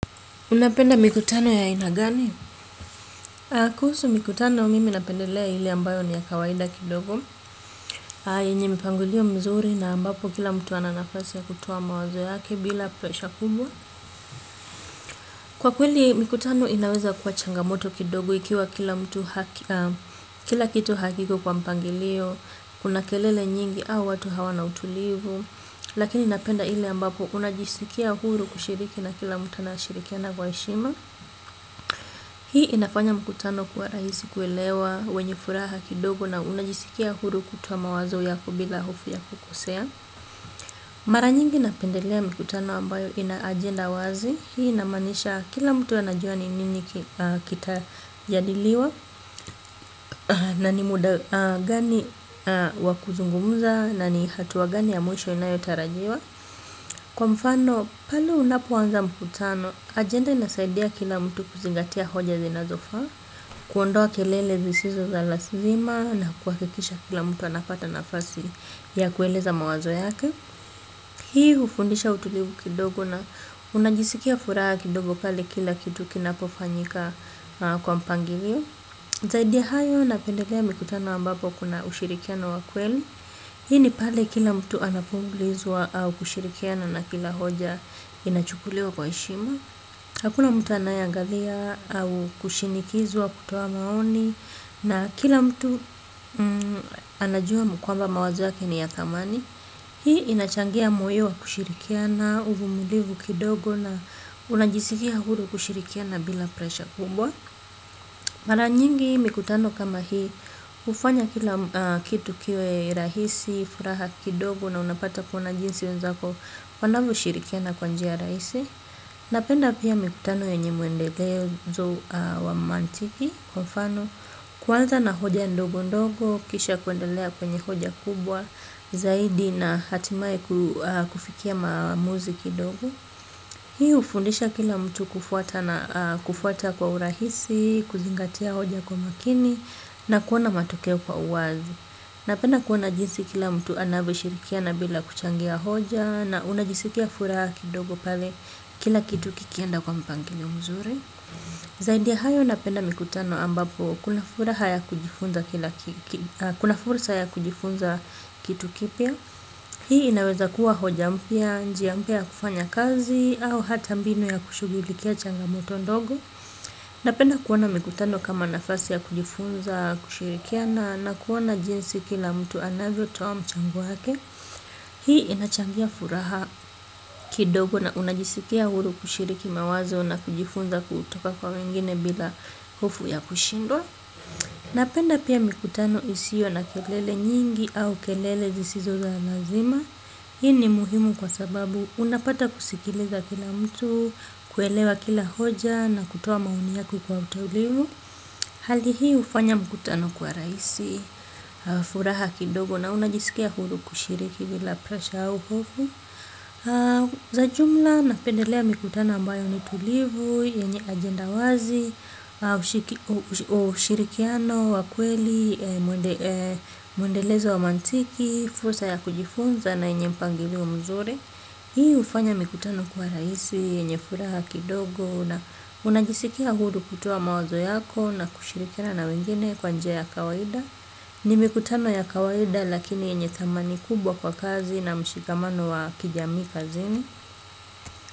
Unapenda mikutano ya aina gani? Kuhusu mikutano mimi napendelea ile ambayo ni ya kawaida kidogo. Na yenye mpangilio mzuri na ambapo kila mtu ana nafasi ya kutoa mawazo yake bila pesha kubwa. Kwa kweli mikutano inaweza kuwa changamoto kidogo ikiwa kila kitu hakiko kwa mpangilio. Kuna kelele nyingi au watu hawana utulivu. Lakini napenda ile ambapo unajisikia huru kushiriki na kila mtu anayeshirikiana kwa heshima. Hii inafanya mkutano kuwa rahisi kuelewa, wenye furaha kidogo na unajisikia huru kutoa mawazo yako bila hofu ya kukosea. Mara nyingi napendelea mikutano ambayo ina agenda wazi. Hii inamaanisha kila mtu anajua ni nini kita jadiliwa na ni muda gani wa kuzungumza na ni hatua gani ya mwisho inayotarajiwa. Kwa mfano, pale unapoanza mkutano, ajenda inasaidia kila mtu kuzingatia hoja zinazofaa, kuondoa kelele zisizo za lazima na kuhakikisha kila mtu anapata nafasi ya kueleza mawazo yake. Hii hufundisha utulivu kidogo na unajisikia furaha kidogo pale kila kitu kinapofanyika kwa mpangilio. Zaidi ya hayo napendelea mikutano ambapo kuna ushirikiano wa kweli. Hii ni pale kila mtu anapoulizwa au kushirikiana na kila hoja inachukuliwa kwa heshima. Hakuna mtu anayeangalia au kushinikizwa kutoa maoni. Na kila mtu anajua kwamba mawazo yake ni ya thamani. Hii inachangia moyo wa kushirikiana uvumulivu kidogo na unajisikia huru kushirikiana bila presha kubwa. Mara nyingi mikutano kama hii, hufanya kila kitu kiwe rahisi, furaha kidogo na unapata kuona jinsi wenzako wanavyoshirikiana kwa njia rahisi. Napenda pia mikutano yenye mwendelezo wa mantiki, kwa mfano, kuanza na hoja ndogo ndogo, kisha kuendelea kwenye hoja kubwa, zaidi na hatimaye kufikia maamuzi kidogo. Hii hufundisha kila mtu kufuata na kufuata kwa urahisi, kuzingatia hoja kwa makini na kuona matokeo kwa uwazi. Napenda kuona jinsi kila mtu anavyoshirikiana bila kuchangia hoja na unajisikia furaha kidogo pale kila kitu kikienda kwa mpangilio mzuri. Zaidia ya hayo napenda mikutano ambapo kuna furaha ya kujifunza kila kitu kuna fursa ya kujifunza kitu kipya. Hii inaweza kuwa hoja mpya, njia mpya ya kufanya kazi au hata mbinu ya kushughulikia changamoto ndogo. Napenda kuona mikutano kama nafasi ya kujifunza, kushirikiana na kuona jinsi kila mtu anavyotoa mchango wake. Hii inachangia furaha kidogo na unajisikia huru kushiriki mawazo na kujifunza kutoka kwa wengine bila hofu ya kushindwa. Napenda pia mikutano isio na kelele nyingi au kelele zisizo za lazima. Hii ni muhimu kwa sababu unapata kusikiliza kila mtu, kuelewa kila hoja na kutoa maoni yako kwa utulivu. Hali hii hufanya mkutano kwa rahisi, furaha kidogo na unajisikia huru kushiriki bila presha au hofu. Za jumla, napendelea mikutano ambayo ni tulivu, yenye agenda wazi, ushirikiano, wa kweli, mwendelezo wa maantiki, fursa ya kujifunza na yenye mpangilio mzuri. Hii hufanya mikutano kwa rahisi, yenye furaha kidogo na unajisikia huru kutoa mawazo yako na kushirikiana na wengine kwa njia ya kawaida. Ni mikutano ya kawaida lakini yenye thamani kubwa kwa kazi na mshikamano wa kijamii kazini.